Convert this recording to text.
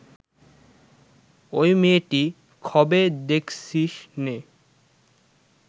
ঐ মেয়েটি খবে দেখছিস নে